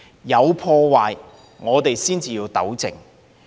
有破壞，我們才要糾正。